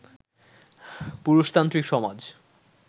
পুরুষতান্ত্রিক সমাজ